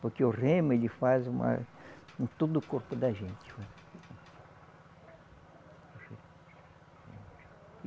Porque o remo, ele faz uma em todo o corpo da gente.